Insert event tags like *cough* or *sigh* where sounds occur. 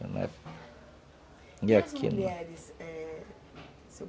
*unintelligible* E as mulheres, é, sr.